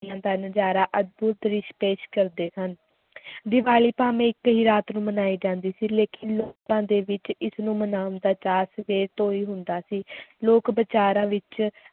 ਦਾ ਨਜ਼ਾਰਾ ਅਦਭੁੱਤ ਦ੍ਰਿਸ਼ ਪੇਸ਼ ਕਰਦਾ ਸਨ ਦੀਵਾਲੀ ਭਾਵੇਂ ਇੱਕ ਹੀ ਰਾਤ ਨੂੰ ਮਨਾਈ ਜਾਂਦੀ ਸੀ ਲੇਕਿਨ ਲੋਕਾਂ ਦੇ ਵਿੱਚ ਇਸ ਨੂੰ ਮਨਾਉਣ ਦਾ ਚਾਅ ਸਵੇਰ ਤੋਂ ਹੀ ਹੁੰਦਾ ਸੀ ਲੋਕ ਬਾਜ਼ਾਰਾਂ ਵਿੱਚ